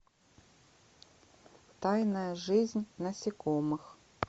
тайная жизнь насекомых